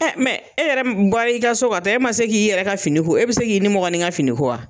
e yɛrɛ bɔl'i ka so ka taa e ma se k'i yɛrɛ ka fini ko e bi se k'i ninmɔgɔnin ka fini ko wa?